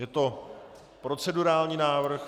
Je to procedurální návrh.